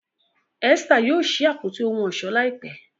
Esther yóò sí Àpótí ohun ọ̀ṣọ́ láìpé.